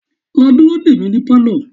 Lọ dúró dè mí ní Pálọ̀!